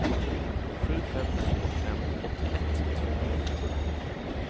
sju fem två fem åttioett tvåhundrafem